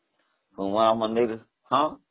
ଉମା ମନ୍ଦିର , ହଁ